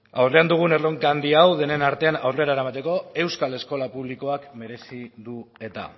aurrean dugun erronka handia hau denen artean aurrera eramateko euskal eskola publikoak merezi du eta